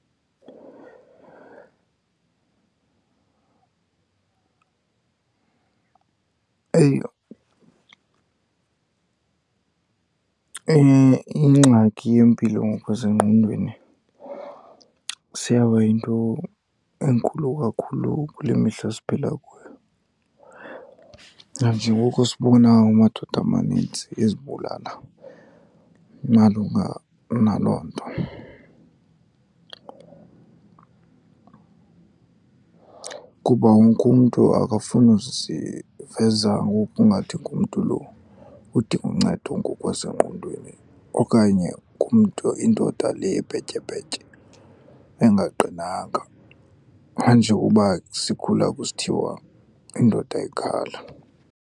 Ingxaki yempilo ngokwasengqondweni seyaba yinto enkulu kakhulu kule mihla siphila kuyo, nanjengoko sibona amadoda amanintsi ezibulala malunga naloo nto. Kuba wonke umntu akafuni uziveza ngokungathi ngumntu lo udinga uncedo ngokwasengqondweni okanye ngumntu, indoda le ebhetyebhetye, engaqinanga, nanjengokuba sikhula kusithiwa indoda ayikhali.